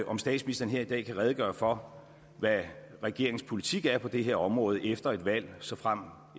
om statsministeren her i dag kan redegøre for hvad regeringens politik er på det her område efter et valg såfremt